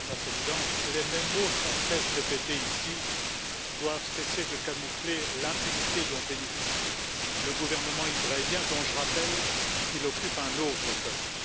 Madame la Présidente, les mêmes mots sempiternellement répétés ici doivent cesser de camoufler l'impunité dont bénéficie le gouvernement israélien, dont je rappelle qu'il occupe un autre peuple.